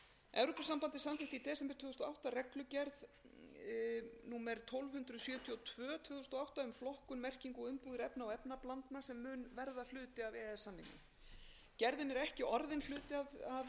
evrópusambandið samþykkti í desember tvö þúsund og átta reglugerð númer tólf hundruð sjötíu og tvö tvö þúsund og átta um flokkun merkingu og umbúðir efna og efnablandna sem mun verða hluti af e e s samningnum gerðin er ekki orðin hluti af þeim